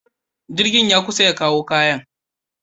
Jirgin ya kusa ya kawo kayana.